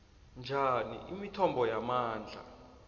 njani imithombo yamandla